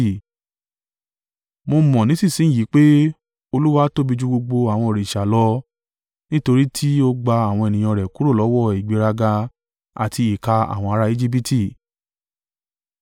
Mo mọ nísinsin yìí pé Olúwa tóbi ju gbogbo àwọn òrìṣà lọ; nítorí ti ó gba àwọn ènìyàn rẹ̀ kúrò lọ́wọ́ ìgbéraga àti ìkà àwọn ará Ejibiti.”